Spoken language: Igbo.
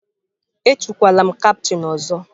Etukwala m kaptain ọzọ!